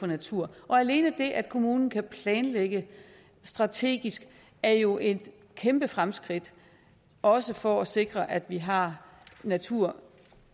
naturen alene det at kommunen kan planlægge strategisk er jo et kæmpe fremskridt også for at sikre at vi har natur